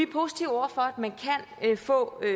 positive over for at